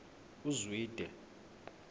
uzwide